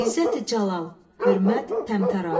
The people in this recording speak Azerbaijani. İzzət-i Cəlal, hörmət, təmtəraq.